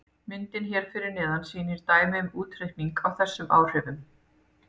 Myndin hér fyrir neðan sýnir dæmi um útreikning á þessum áhrifum.